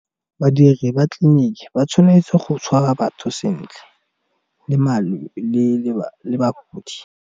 Badiri ba tleliniki ba tshwanetse go tshwara batho sentle le .